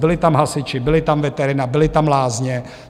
Byli tam hasiči, byla tam veterina, byly tam lázně.